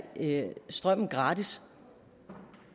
strømmen gratis